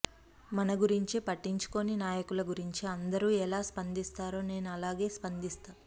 మన గురించి పట్టించుకోని నాయకుల గురించి అందరూ ఎలా స్పందిస్తారో నేను అలాగే స్పందిస్తా